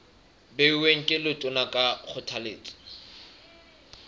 beuweng ke letona ka kgothaletso